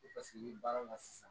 Paseke ni baaraw la sisan